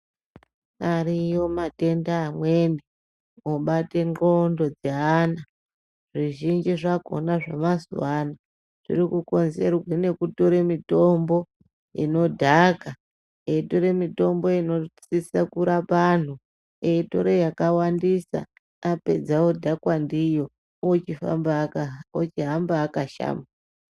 Ariyo matenda amweni obate nxlondo dzeana zvizhinji zvakona zvemazuwa ano zvirikukonzerwa ngekutore mitombo inodhaka eitore mitombo inosise kurapa anhu eitore yakawandisa eidhakwa ndiyo ochihamba akashama.